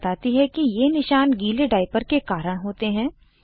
doctor बताती है कि ये निशान गीले डाइपर के कारण होते हैं